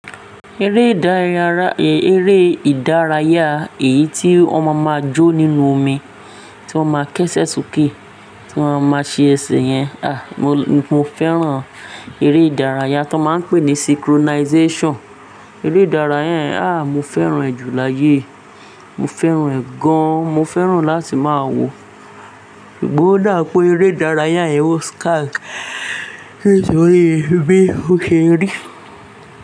Eré ìdárayá, èyí tí wọ́n maa máa jó nínú omi, tí wọ́n máa kẹ́sẹ̀ soke, tí wọ́n máa ṣe ẹsẹ̀ yẹn. Àh, mo fẹ́ràn eré ìdárayá tí wọ́n máa ń pè ní synchronization. Eré ìdárayá yen, àh, mo fẹ́ràn ẹ́ jù láyé. Mo fẹ́ràn ẹ́ gan-an, mo fẹ́ràn láti máa wòo. Ṣùgbọ́n ó dà pé eré ìdárayá yẹn ó scarce, nitorí bí ó ṣe rí.